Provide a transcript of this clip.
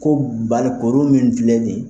Ko Bali koro min filɛ nin.